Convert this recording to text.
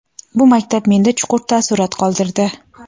bu maktab menda chuqur taassurot qoldirdi.